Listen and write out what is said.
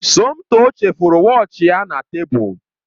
Somtoo chefuru wọọchi ya na tebụl